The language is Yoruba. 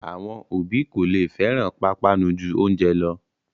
Àwọn òbí kò lè fẹ́ràn pápánu ju oúnjẹ lọ